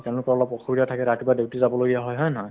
তেওঁলোকৰ অলপ অসুবিধা থাকে ৰাতিপুৱা duty যাব লাগীয়া হয় হয়নে নহয় ?